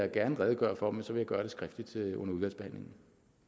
jeg gerne redegøre for men så vil jeg gøre det skriftligt under udvalgsbehandlingen